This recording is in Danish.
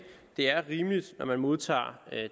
det er rimeligt at når man modtager